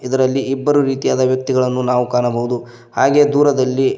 ಇದರಲ್ಲಿ ಇಬ್ಬರು ರೀತಿಯಾದ ವ್ಯಕ್ತಿಗಳನ್ನು ನಾವು ಕಾಣಬಹುದು ಹಾಗೆ ದೂರದಲ್ಲಿ--